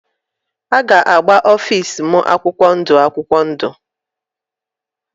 A ga-agba ofịs m akwụkwọ ndụ akwụkwọ ndụ.